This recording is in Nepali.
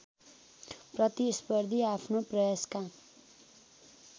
प्रतिस्पर्धी आफ्नो प्रयासका